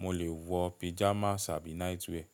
mo lè wọ pijamas àbí night wear.